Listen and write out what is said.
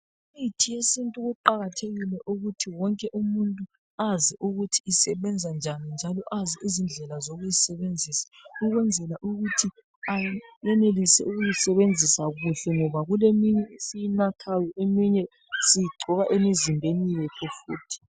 Imithi yesintu kuqakathekile ukuthi wonke umuntu azi ukuthi isebenza njani njalo azi izindlela zokuyisebenzisa, ukwenzela ukuthi ayenelise ukuyisebenzisa kuhle ngoba kuleminye esiyinathayo, eminye siyigcoba emizimbeni yethu futhi.